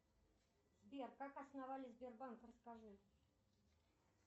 сбер как основали сбербанк расскажи